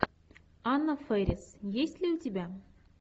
анна фэрис есть ли у тебя